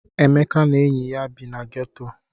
Emeka na enyi ya bi na geto.